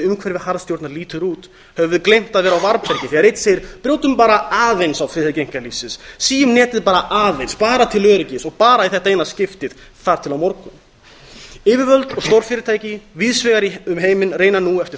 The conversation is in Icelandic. umhverfi harðstjórnar lítur út höfum við gleymt að vera á varðbergi þegar einn segir brjótum bara aðeins á friðhelgi einkalífsins mínum netið bara aðeins bara til öryggis og bara í þetta eina skipti þar til á morgun yfirvöld og stórfyrirtæki víðs vegar um heiminn reyna nú eftir